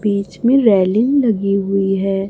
बीच में रेलिंग लगी हुई है।